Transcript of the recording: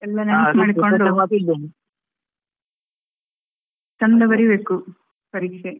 ನೆನ್ಪಮಾಡ್ಕೊಂಡ್ ಚೆಂದ ಬರೀಬೇಕು ಪರೀಕ್ಷೆ.